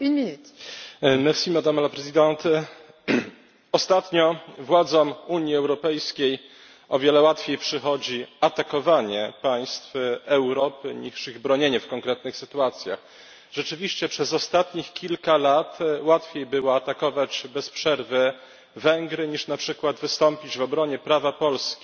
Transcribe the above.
Pani Przewodnicząca! Ostatnio władzom Unii Europejskiej o wiele łatwiej przychodzi atakowanie państw Europy, niż ich bronienie w konkretnych sytuacjach. Rzeczywiście przez ostatnich kilka lat łatwiej było atakować bez przerwy Węgry, niż na przykład wystąpić w obronie prawa Polski